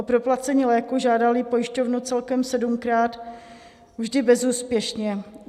O proplacení léku žádali pojišťovnu celkem sedmkrát, vždy bezúspěšně.